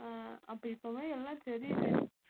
அஹ் அப்ப இப்பவே எல்லாம் தெரியுது